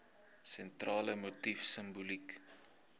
sentrale motief simboliek